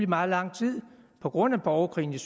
meget lang tid på grund af borgerkrigen